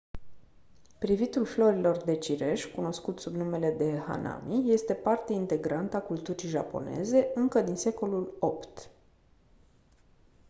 privitul florilor de cireș cunoscut sub numele de hanami este parte integrantă a culturii japoneze încă din secolul 8